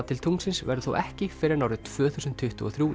til tunglsins verður þó ekki fyrr en árið tvö þúsund tuttugu og þrjú